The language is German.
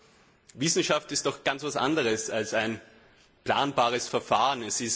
Doch Wissenschaft ist etwas ganz anderes als ein planbares Verfahren.